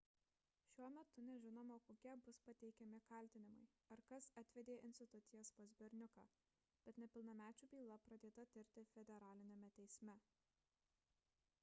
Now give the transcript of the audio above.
šiuo metu nežinoma kokie bus pateikti kaltinimai ar kas atvedė institucijas pas berniuką bet nepilnamečių byla pradėta tirti federaliniame teisme